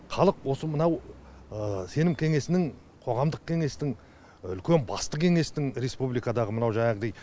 халық осы мынау сенім кеңесінің қоғамдық кеңестің үлкен басты кеңестің республикадағы мынау жаңағыдай